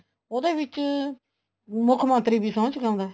ਉਹਦੇ ਵਿੱਚ ਮੁੱਖ ਮੰਤਰੀ ਵੀ ਸੋਂਹ ਚਕਾਉਂਦਾ